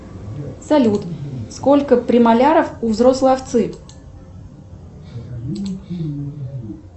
салют сколько премоляров у взрослой овцы